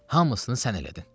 Hamısını sən elədin.